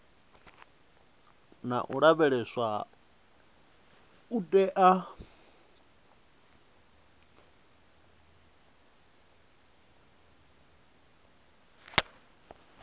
na u lavheleswa u tea